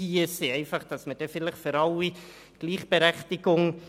So wären alle gleichberechtigt.